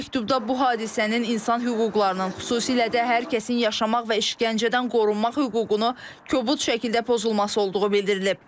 Məktubda bu hadisənin insan hüquqlarının, xüsusilə də hər kəsin yaşamaq və işgəncədən qorunmaq hüququnu kobud şəkildə pozulması olduğu bildirilib.